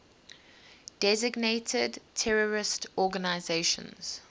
designated terrorist organizations